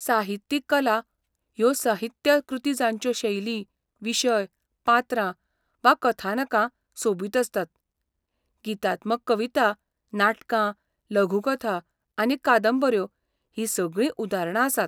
साहित्यीक कला ह्यो साहित्य कृती जांच्यो शैली, विशय, पात्रां वा कथानकां सोबीत आसतात. गीतात्मक कविता, नाटकां, लघुकथा आनी कादंबऱ्यो हीं सगळीं उदारणां आसात.